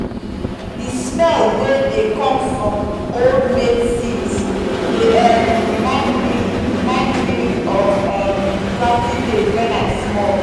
the smell wey dey come from old maize seeds dey um remind me remind me of um planting days when i small.